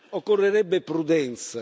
Occorrerebbe prudenza.